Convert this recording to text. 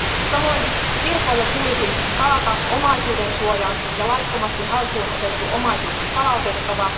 Samoin kirkoille tulisi taata omaisuudensuoja, ja laittomasti haltuun otettu omaisuus on palautettava.